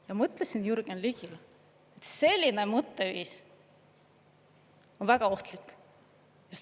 Ma ütlesin Jürgen Ligile, et selline mõtteviis on väga ohtlik.